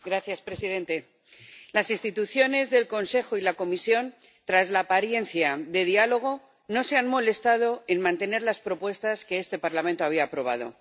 Señor presidente, las instituciones del Consejo y la Comisión, tras la apariencia de diálogo, no se han molestado en mantener las propuestas que este Parlamento había aprobado.